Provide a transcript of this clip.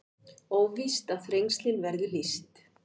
Óvíst að Þrengslin verði lýst